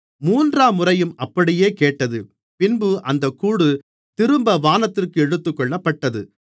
மூன்றாம்முறையும் அப்படியே கேட்டது பின்பு அந்தக் கூடு திரும்ப வானத்திற்கு எடுத்துக்கொள்ளப்பட்டது